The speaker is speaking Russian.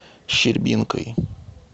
щербинкой